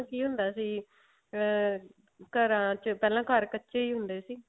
ਕੀ ਹੁੰਦਾ ਸੀ ਅਹ ਘਰਾਂ ਚ ਪਹਿਲਾਂ ਘਰ ਕੱਚੇ ਹੁੰਦੇ ਸੀ